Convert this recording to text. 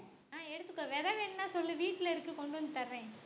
அஹ் எடுத்துக்கோ விதை வேணும்னா சொல்லு வீட்டுல இருக்கு கொண்டு வந்து தர்றேன்